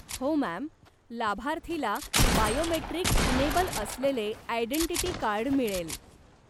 हो, मॅम! लाभार्थीला biometric enable असलेले आयडेंटिटी कार्ड मिळेल.